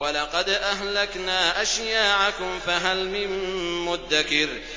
وَلَقَدْ أَهْلَكْنَا أَشْيَاعَكُمْ فَهَلْ مِن مُّدَّكِرٍ